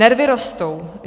"Nervy rostou.